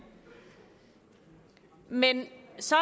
men så